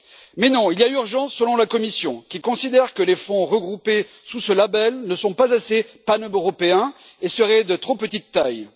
Mais non, il y a urgence, selon la Commission, qui considère que les fonds regroupés sous ce label ne sont pas assez paneuropéens et seraient de trop petite taille.